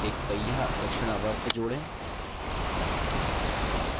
एक पहिया दक्षिणावर्त जोड़ें